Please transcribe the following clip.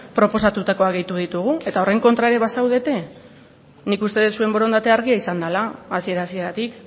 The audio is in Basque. proposatutakoa gehitu ditugu eta horren kontra ere bazaudete nik uste dut zuen borondatea argia izan dela hasiera hasieratik